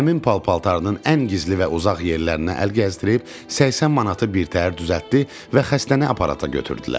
Əmim pal-paltarının ən gizli və uzaq yerlərinə əl gəzdirib 80 manatı birtəhər düzəltdi və xəstəni aparata götürdülər.